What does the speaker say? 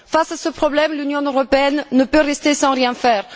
Face à ce problème, l'Union européenne ne peut rester sans rien faire.